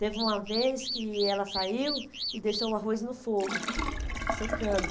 Teve uma vez que ela saiu e deixou o arroz no fogo, secando.